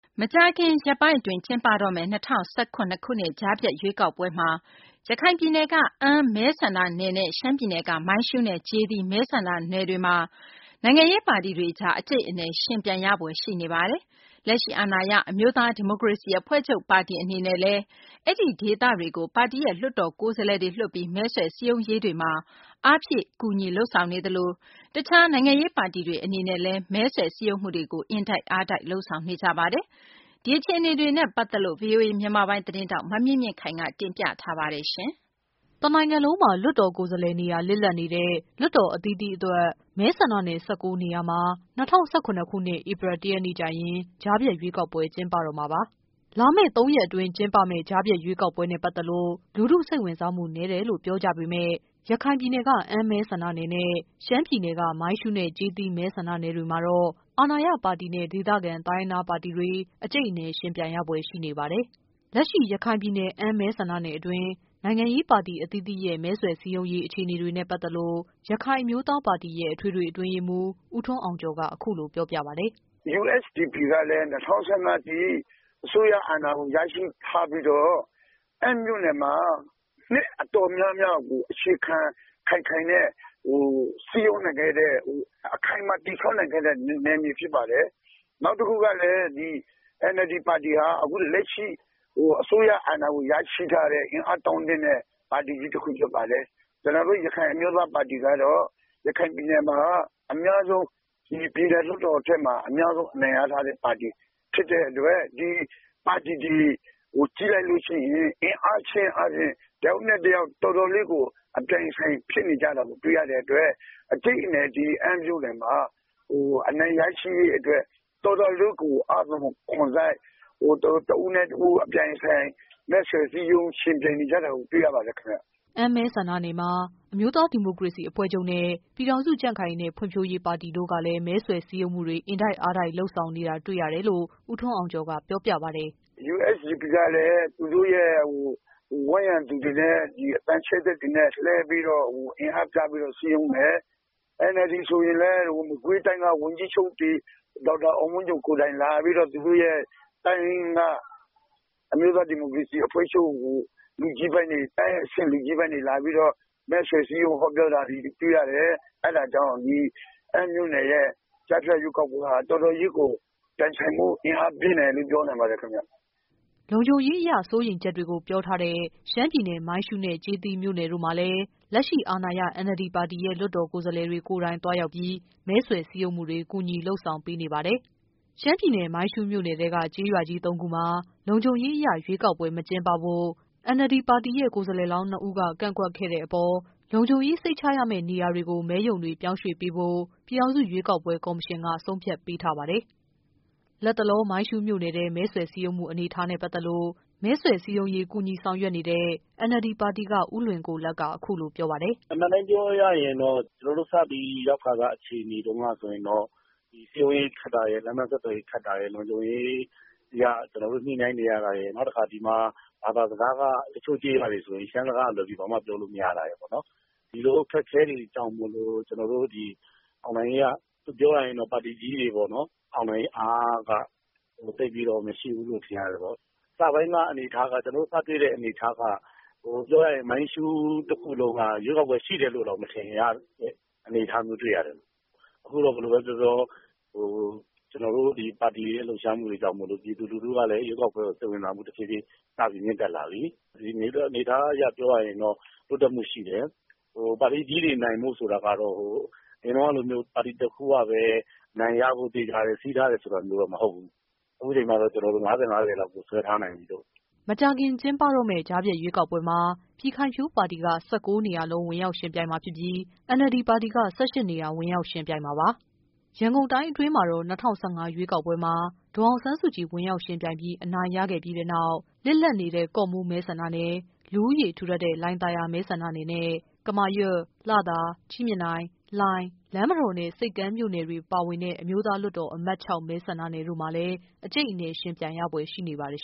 မကြာခင် ရက်ပိုင်းအတွင်း ကျင်းပတော့မယ့် ၂၀၁၇ ကြားဖြတ် ရွေးကောက်ပွဲမှာ ရခိုင်ပြည်နယ်က အမ်း မဲဆန္ဒနယ်နဲ့ ရှမ်းပြည်နယ်က မိုင်းရှူးနဲ့ ကျေးသီး မဲဆန္ဒနယ်တွေမှာ နိုင်ငံရေးပါတီတွေအကြား အကျိတ်အနယ် ယှဉ်ပြိုင်ရဖွယ်ရှိနေပါ တယ်။ လက်ရှိ အာဏာရ အမျိုးသားဒီမိုကရေစီအဖွဲ့ချုပ်အနေနဲ့လည်း အဲဒီဒေသတွေကို ပါတီရဲ့ လွှတ်တော်ကိုယ်စား လှယ်တွေလွှတ်ပြီး မဲဆွယ်စည်းရုံးရေးတွေမှာ အားဖြည့်ကူညီ လုပ်ဆောင်နေသလို တခြား နိုင်ငံရေးပါတီတွေအနေနဲ့လဲ မဲဆွယ် စည်းရုံးမှုတွေကို အင်တိုက်အားတိုက် လုပ်ဆောင်နေကြပါတယ်။ ဒီ အခြေအနေတွေနဲ့ ပတ်သက်လို့ဗွီအိုအေ မြန်မာပိုင်းသတင်းထောက် မမြင့်မြင့်ခိုင်က တင်ပြပေးပါမယ်။ တနိုင်ငံလုံးမှာ လွှတ်တော်ကိုယ်စားလှယ်နေရာ လစ်လပ်နေတဲ့ လွှတ်တော်အသီးသီးအတွက် မဲဆန္ဒနယ် ၁၉ နေရာမှာ ၂၀၁၇ ခုနှစ် ဧပြီ ၁ ရက်နေ့ကျရင် ကြားဖြတ်ရွေးကောက်ပွဲ ကျင်းပတော့မှာပါ။ လာမယ့် ၃ ရက်အတွင်း ကျင်းပတော့မယ့် ကြားဖြတ်ရွေးကောက်ပွဲနဲ့ပတ်သက်လို့ လူထုစိတ်ဝင်စားမှု နည်းတယ်လို့ ပြောကြပေမယ့် ရခိုင်ပြည်နယ်က အမ်း မဲဆန္ဒ နယ်နဲ့ ရှမ်းပြည်နယ်က မိုင်းရှူးနဲ့ ကျေးသီး မဲဆန္ဒနယ်တွေမှာတော့ အာဏာရပါတီနဲ့ ဒေသခံ တိုင်းရင်းသားပါတီတွေ အကြိတ်အနယ် ယှဉ်ပြိုင်ရဖွယ်ရှိနေပါတယ်။ လက်ရှိ အမ်း မဲဆန္ဒနယ်အတွင်း နိုင်ငံရေးပါတီအသီးသီးရဲ့ မဲဆွယ်စည်းရုံးရေး အခြေအနေတွေနဲ့ ပတ်သက်လို့ ရခိုင် အမျိုးသားပါတီရဲ့ အထွေထွေအတွင်းရေးမှူး ဦးထွန်းအောင်ကျော်က အခုလို ပြောပြပါတယ်။ “USDP ကလည်း ၂၀၁၅ အထိ အစိုးရအာဏာကို ရရှိထားပြီးတော့ အမ်းမြို့နယ်မှာ နှစ်တော်တော်များများကို အခြေခံ ခိုင်ခိုင်နဲ့ စည်းရုံးနိုင်ခဲ့တဲ့ အခိုင်အမာ တည်ဆောက်နိုင်ခဲ့တဲ့ နယ်မြေတွေဖြစ်ပါတယ်။ နောက်တခုကလည်း NLD ပါတီဟာ အခုလက်ရှိ အစိုးရအာဏာကို ရရှိထားတဲ့ အင်အားတောင့်တင်းတဲ့ ပါတီတခုဖြစ်တယ်။ ကျနော်တို့ ရခိုင်အမျိုးသားပါတီကတော့ ရခိုင်ပြည်နယ်မှာ အများဆုံး ပြည်နယ်လွှတ်တော်နေရာတွေမှာ အများဆုံးအနိုင်ရထားတဲ့ ပါတီ ဖြစ်တဲ့အတွက် ဒီ ပါတီတွေကို ကြည့်လိုက်ရင် အင်အားနဲ့ဆိုအားဖြင့် တယောက်နဲ့ တယောက် တော်တော်လေးကို အပြိုင်အဆိုင်ဖြစ်နေတာကို တွေ့ရတဲ့အတွက် အကြိတ်အနယ် ဒီ အမ်းမြို့နယ်မှာ အနိုင်ရရှိရေးအတွက် တော်တော်လေးကို အားသွန်ခွန်စိုက် သူတို့ တဦးနဲ့ တဦး အပြိုင်အဆိုင် မဲဆွယ်စည်းရုံးယှဉ်ပြိုင်နေကြတာကို တွေ့ရပါတယ်ခင်ဗျာ။” အမ်း မဲဆန္ဒနယ်မှာ အမျိုးသားဒီမိုကရေစီအဖွဲ့ချုပ်နဲ့ ပြည်ထောင်စုကြံ့ ခိုင်ရေးနဲ့ ဖွံ့ဖြိုးရေးပါတီတို့ကလဲ မဲဆွယ် စည်းရုံးမှုတွေ အင်တိုက်အားတိုက်လုပ်နေတာတွေ့ရတယ်လို့ ဦးထွန်းအောင်ကျော်က ပြောပြပါတယ်။ “USDP ကလည်း ဝန်းရံပြည်သူတွေကိုလည်း အသံချဲ့စက်တွေနဲ့ လှည့်ပြီး အင်အားပြပြီးတော့ စည်းရုံးတယ်။ NLD ပါတီဆိုရင်လည်း မကွေးတိုင်းက ဝန်ကြီးချုပ်တွေ လာပြီးတော့ သူတို့တိုင်းက အမျိုးသားဒီမိုကရေစီအဖွဲ့ချုပ်ကို အဲဒီအဆင့်လူကြီးပိုင်းတွေလာပြီးတော့ မဲဆွယ်စည်းရုံးတာတွေကိုတွေ့ရတယ်။ အဲဒါကြောင့် ဒီ အမ်းမြို့နယ်ရဲ့ ကြားဖြတ်ရွေးကောက်ပွဲဟာ တော်တော်လေးကို ပြိုင်ဆိုင်မှု ပြင်းတယ်လို့ ပြောနိုင်ပါတယ်ခင်ဗျ။” လုံခြုံရေးအရ စိုးရိမ်ချက်တွေကိုပြောထားတဲ့ ရှမ်းပြည်နယ် မိုင်းရှူးနဲ့ ကျေးသီးမြို့နယ်တို့မှာလဲ လက်ရှိ အာဏာရ NLD ပါတီရဲ့ လွှတ်တော်ကိုယ်စားလှယ်တွေ ကိုယ်တိုင်သွားရောက်ပြီး မဲဆွယ်စည်းရုံးမှုတွေ ကူညီလုပ်ဆောင်ပေးနေပါတယ်။ ရှမ်းပြည်နယ် မိုင်းရှူးမြို့နယ်ထဲက ကျေးရွာကြီး ၃ ခု မှာ လုံခြုံရေးအရ ရွေးကောက်ပွဲ မကျင်းပဖို့ NLD ပါတီရဲ့ ကိုယ်စားလှယ်လောင်း နှစ်ဦးက ကန့်ကွက်ခဲ့တဲ့အပေါ် လုံခြုံရေး စိတ်ချရမယ့်နေရာတွေကို မဲရုံတွေပြောင်းရွှေ့ပေးဖို့ ပြည်ထောင်စုရွေးကောက်ပွဲကော်မရှင်က ဆုံးဖြတ်ပေးထားပါတယ်။ လတ်တလော မိုင်းရှူးမြို့နယ်ထဲ မဲဆွယ်စည်းရုံးမှု အနေအထားနဲ့ ပတ်သက်လို့ မဲဆွယ်စည်းရုံးရေး ကူညီ ဆောင်ရွက်နေ တဲ့ NLD ပါတီက ဦးလွင်ကိုလတ်က အခုလို ပြောပါတယ်။ “အမှန်အတိုင်းပြောရရင်တော့ ကျနော်တို့ စပြီးရောက်ခါစအခြေအနေတုန်းက ဆိုရင်တော့ စည်းရုံးရေး ခက်တာရယ် လမ်းပန်းဆက်သွယ်ရေးခက်တာရယ်၊ လုံခြုံရေးအရ ညှိနှိုင်းနေရတာရယ်၊ နောက်ပြီး ဘာသာစကားက တချို့ရွာတွေမှာ ရှမ်းစကားကလွဲပြီး ဘာမှ ပြောလို့မရတာရယ်၊ ဒီလိုအခက်အခဲတွေကြောင့်မို့လို့ ကျနော်တို့ဒီ အောင်နိုင်ရေးက ပြောရရင်တော့ ပါတီကြီးတွေကပေါ့နော် အောင်နိုင်အားက သိပ်ပြီးတော့ မရှိဘူးလို့ ထင်ရတယ်။ ကျနော်တို့ စတွေ့တဲ့အနေအထားက မိုင်းရှူးတခုလုံးက ရွေးကောက်ပွဲရှိတယ်လို့တောင် မထင်ရတဲ့အနေအထားမျိုးတွေ့ရတယ်။ အခုတော့ ဘယ်လိုပဲပြောပြော ကျနော်တို့တွေ ပါတီလှုပ်ရှားမှုတွေကြောင့် ပြည်သူလူထုကလည်း ရွေးကောက်ပွဲကို စိတ်ဝင်စားမှှု တဖြေးဖြေး မြင့်တက်လာပြီ။ အနေအထားအရပြောရရင်တော့ တိုးတက်မှုရှိတယ်။ ပါတီကြီးတွေ နိုင်ဖို့ဆိုတာကတော့ အရင်တုန်းကလိုမျိုး ပါတီ ၁ ခုပါပဲ အနိုင်ရဖို့ သေချာတယ်ဆိုတာမျိုးမဟုတ်ဘူး။ အခုအချိန်မှာတော့ ကျနော်တို့ ၅၀-၅၀ ဆွဲထားနိုင်ပြီပေါ့။” မကြာခင်ကျင်းပမယ့် ကြားဖြတ်ရွေးကောက်ပွဲမှာ ပြည်ခိုင်ဖြိုးပါတီက ၁၉ နေရာလုံး ဝင်ရောက်ယှဉ်ပြိုင်မှာဖြစ်ပြီး NLD ပါတီက ၁၈ နေရာ ဝင်ရောက်ယှဉ်ပြိုင်မှာပါ။ ရန်ကုန်တိုင်းအတွင်းမှာတော့ ၂၀၁၅ ရွေးကောက်ပွဲမှာ ဒေါ်အောင်ဆန်း စုကြည် ဝင်ရောက်ယှဉ်ပြိုင်ပြီး အနိုင်ရခဲ့ပြီးတဲ့နောက် လစ်လပ်နေတဲ့ ကော့မှူးမဲဆန္ဒနယ်၊ လူဦးရေထူထပ်တဲ့ လှိုင်သာယာမဲဆန္ဒနယ်နဲ့ ကမာရွတ်၊ လသာ၊ ကြည့်မြင်တိုင်၊ လှိုင်၊ လမ်းမတော်နဲ့ ဆိပ်ကမ်းမြို့နယ်တွေ ပါဝင်တဲ့ အမျိုးသားလွှတ်တော် အမှတ် ၆ မဲ ဆန္ဒနယ်တို့မှာ အကျိတ်အနယ် ယှဉ်ပြိုင်ရဖွယ် ရှိနေပါတယ်